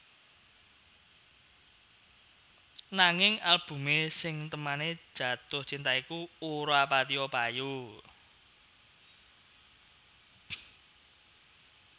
Nanging albumé sing témané Jatuh Cinta iku ora patiya payu